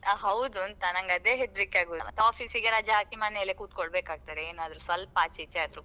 ಹೌದುಂಥಾ ನಂಗೆ ಅದೇ ಹೆದ್ರಿಕೆ ಆಗುದು office ಗೆ ರಜೆ ಹಾಕಿ ಮನೆಯಲ್ಲೇ ಕೂತ್ಕೊಳ್ಬೇಕಾಗುತ್ತೆ.